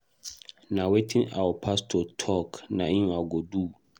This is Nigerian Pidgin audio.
Na wetin our pastor talk na im I go do